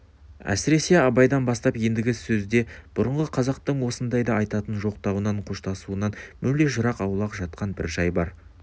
әсіресе абайдан бастап ендігі сөзде бұрынғы қазақтың осындайда айтатын жоқтауынан қоштасуынан мүлде жырақ аулақ жатқан бір жай бар